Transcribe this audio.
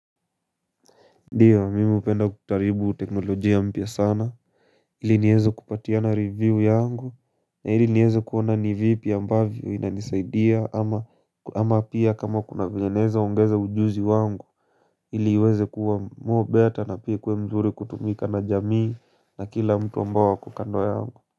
Ndio, mimi hupenda kutaribu teknolojia mpya sana, ili nieze kupatiana review yangu, ili nieze kuona nivipi ambavyo inanisaidia ama ama pia kama kuna venye naeza ongeza ujuzi wangu, ili iweze kuwa more better na pia ikue mzuri kutumika na jamii na kila mtu ambao ako kando yangu.